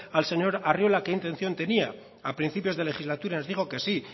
al señor arriola qué intención tenía a principios de legislatura nos dijo que sí